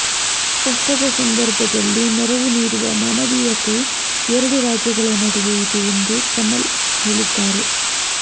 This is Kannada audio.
ಕಷ್ಟದ ಸಂದರ್ಭದಲ್ಲಿ ನೆರವು ನೀಡುವ ಮಾನವೀಯತೆ ಎರಡು ರಾಜ್ಯಗಳ ನಡುವೆ ಇದೆ ಎಂದು ಕಮಲ್ ಹೇಳಿದ್ದಾರೆ